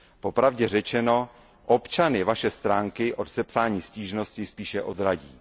Po pravdě řečeno, občany Vaše stránky od sepsání stížnosti spíše odradí.